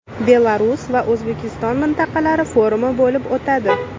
Belarus va O‘zbekiston mintaqalari forumi bo‘lib o‘tadi.